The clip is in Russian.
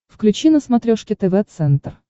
включи на смотрешке тв центр